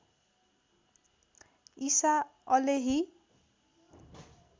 ईसा अलेही